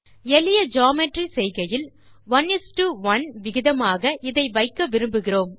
எளிய ஜியோமெட்ரி செய்கையில் 11 விகிதமாக இதை வைக்க விரும்புவோம்